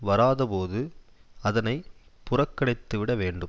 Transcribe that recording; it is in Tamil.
வராதபோது அதனை புறக்கணித்துவிட வேண்டும்